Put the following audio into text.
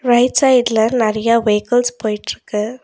Right சைடுல நெறைய vehicles போயிட்ருக்கு.